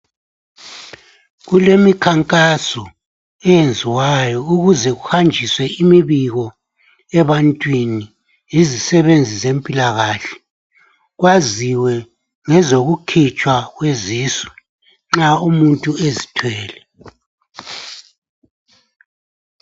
Kulemikhankaso eyenziwayo ukuze kuhanjiswe imibiko ebantwini yizisebenzi zempilakahle kwaziwe ngezokukhitshwa kwezisu nxa umuntu ezithwele